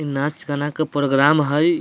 इ नाच गाना के प्रोग्राम हई।